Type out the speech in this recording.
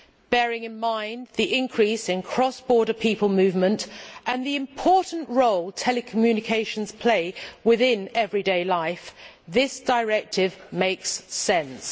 Bearing in mind the increase in cross border people movement and the important role telecommunications play within everyday life, this directive makes sense.